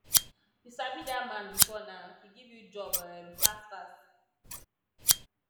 you sabi dat man before now he give you job um fast fast